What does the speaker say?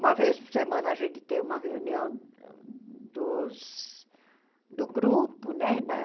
Uma vez por semana a gente tem uma reunião dos... do grupo, né? Na